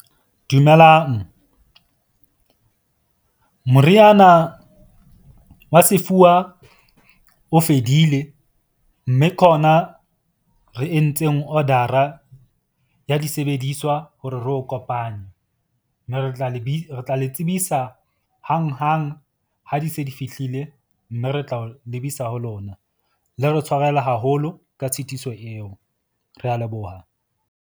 Dumelang moriana wa sefuba o fedile. Mme ke ona re entseng order-a ya disebediswa hore re o kopane. Mme re tla le re tla le tsebisa hanghang. Ha di se di fihlile mme re tla o lebisa ho lona. Le re tshwarele haholo ka tshitiso eo. Re a leboha.